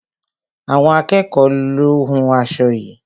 Àwọn akẹ́ẹ̀kọ lo hún aṣo yií.